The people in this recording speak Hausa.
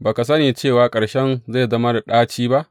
Ba ka sani cewa ƙarshen zai zama da ɗaci ba.